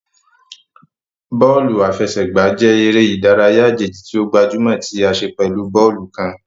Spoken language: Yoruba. Bóòlù àfẹsẹ̀gbá jẹ eré ìdárayá àjèjì ti o gbajúmò tí a ṣe pẹ̀lú bóòlù kán.